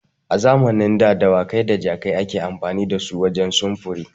A zamanin da dawakai da jakai ake amfani dasu wajen sufuri.